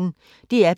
DR P1